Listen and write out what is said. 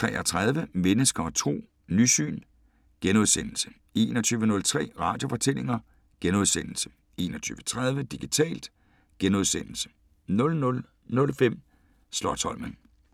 20:33: Mennesker og Tro: Nysyn * 21:03: Radiofortællinger * 21:30: Digitalt * 00:05: Slotsholmen *